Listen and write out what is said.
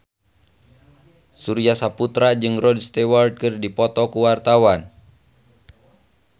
Surya Saputra jeung Rod Stewart keur dipoto ku wartawan